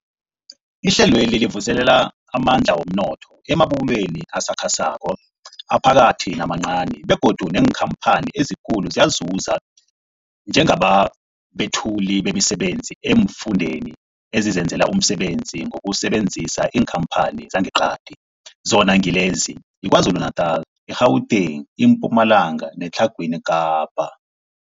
Ihlelweli livuselela amandla womnotho emabubulweni asakhasako, aphakathi namancani begodu neenkhamphani ezikulu ziyazuza njengabethuli bemisebenzi eemfundeni ezizenzela umsebenzi ngokusebenzisa iinkhamphani zangeqadi, zona ngilezi, yiKwaZulu-Natala, i-Gauteng, iMpumalanga neTlhagwini Kapa.